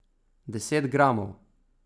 Deset gramov?